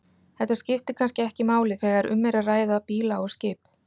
Þetta skiptir kannski ekki máli þegar um er að ræða bíla og skip.